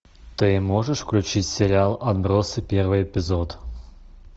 ты можешь включить сериал отбросы первый эпизод